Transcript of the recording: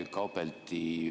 Ma vabandan.